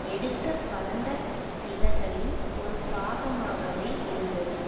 எடுத்த பரந்த விலகலின் ஒருபாகமாகவே இருந்தது